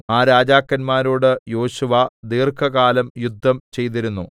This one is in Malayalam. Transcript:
ആ രാജാക്കന്മാരോട് യോശുവ ദീർഘകാലം യുദ്ധം ചെയ്തിരുന്നു